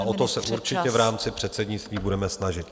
A o to se určitě v rámci předsednictví budeme snažit.